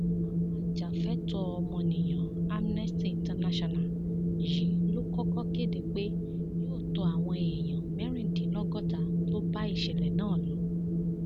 àwọn ajàfẹtọọọmọnìyàn amnesty international yìí ló kọkọ kéde pé yóò tọ àwọn èèyàn mẹrìndínlọgọta tó bá ìṣẹlẹ náà lọ